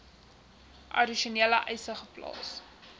addisionele eise geplaas